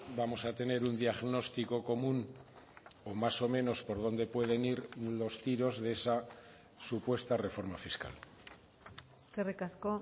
vamos a tener un diagnóstico común o más o menos por dónde pueden ir los tiros de esa supuesta reforma fiscal eskerrik asko